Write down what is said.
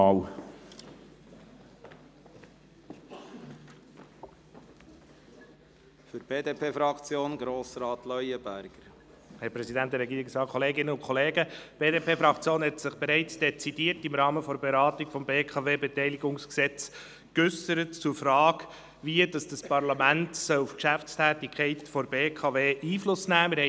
Die BDP-Fraktion hat sich im Rahmen der Beratung des BKWG bereits dezidiert zur Frage geäussert, wie dieses Parlament auf die Geschäftstätigkeit der BKW Einfluss nehmen soll.